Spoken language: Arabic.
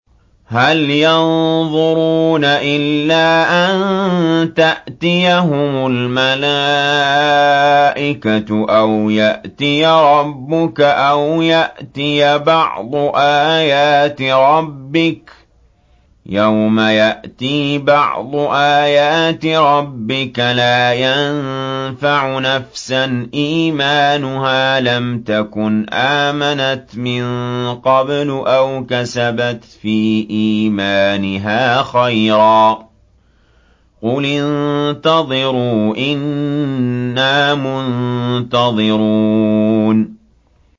هَلْ يَنظُرُونَ إِلَّا أَن تَأْتِيَهُمُ الْمَلَائِكَةُ أَوْ يَأْتِيَ رَبُّكَ أَوْ يَأْتِيَ بَعْضُ آيَاتِ رَبِّكَ ۗ يَوْمَ يَأْتِي بَعْضُ آيَاتِ رَبِّكَ لَا يَنفَعُ نَفْسًا إِيمَانُهَا لَمْ تَكُنْ آمَنَتْ مِن قَبْلُ أَوْ كَسَبَتْ فِي إِيمَانِهَا خَيْرًا ۗ قُلِ انتَظِرُوا إِنَّا مُنتَظِرُونَ